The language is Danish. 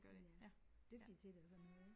De er dygtige til det og sådan noget ik